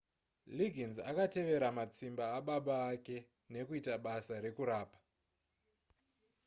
liggins akatevera matsimba ababa vake nekuita basa rekurapa